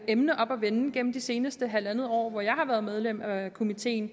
emne oppe at vende gennem det seneste halvandet år hvor jeg har været medlem af komitéen